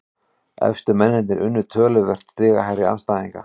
Efstu mennirnir unnu töluvert stigahærri andstæðinga